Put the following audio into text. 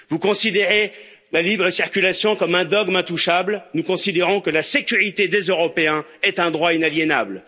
Vous considérez la libre circulation comme un dogme intouchable, nous considérons que la sécurité des Européens est un droit inaliénable.